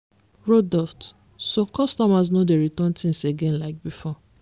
roduct so customers no dey return things again like before.